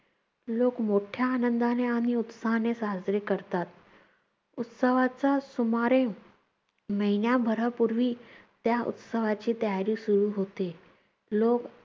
लोक मोठ्या आनंदाने आणि उत्साहाने साजरे करतात. उत्सवाचा सुमारे महिन्याभरा पूर्वी त्या उत्सवाची तयारी सुरू होते. लोक